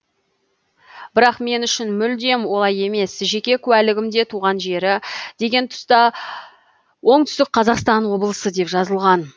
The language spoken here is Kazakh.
бірақ мен үшін мүлдем олай емес жеке куәлігімде туған жері деген тұста оңтүстік қазақстан облысы деп жазылған